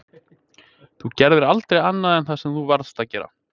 Þú gerðir aldrei annað en það sem þú varðst að gera.